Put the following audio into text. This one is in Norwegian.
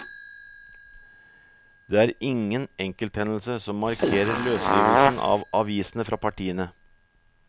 Det er ingen enkelthendelse som markerer løsrivelsen av avisene fra partiene.